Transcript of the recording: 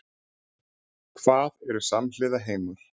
Hvað eru samhliða heimar?